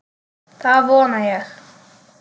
Það vona ég